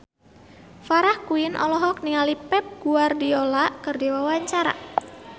Farah Quinn olohok ningali Pep Guardiola keur diwawancara